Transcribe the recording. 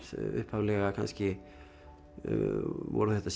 upphaflega kannski voru þetta